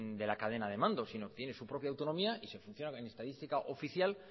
de la cadena de mando sino que tiene su propia autonomía y se funciona en estadística oficial